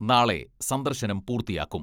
നാളെ സന്ദർശനം പൂർത്തിയാക്കും.